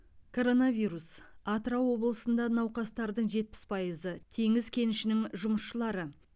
коронавирус атырау облысында науқастардың жетпіс пайызы теңіз кенішінің жұмысшылары